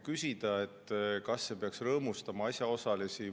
Kas see peaks rõõmustama asjaosalisi?